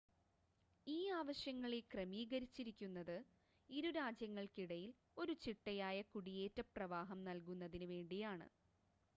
ഈ ആവശ്യങ്ങളെ ക്രമീകരിച്ചിരിക്കുന്നത് ഇരു രാജ്യങ്ങൾക്കിടയിൽ ഒരു ചിട്ടയായ കുടിയേറ്റ പ്രവാഹം നൽകുന്നതിന് വേണ്ടിയാണ്